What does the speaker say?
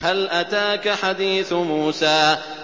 هَلْ أَتَاكَ حَدِيثُ مُوسَىٰ